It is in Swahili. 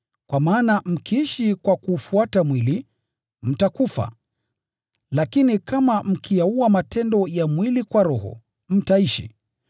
kwa maana mkiishi kwa kuufuata mwili, mtakufa, lakini kama mkiyaua matendo ya mwili kwa Roho, mtaishi.